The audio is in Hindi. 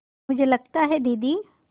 मुझे लगता है दीदी